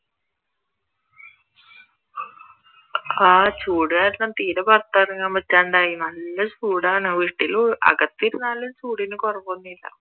ആഹ് ചൂട് കാരണം തീരെ പുറത്തിറങ്ങാൻ പറ്റാണ്ടായി നല്ല ചൂടാണ് വീട്ടിൽ അകത്തിരുന്നാലും ചൂടിന് കുറവ് ഒന്നും ഇല്ല